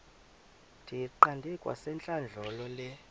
ndiyiqande kwasentlandlolo le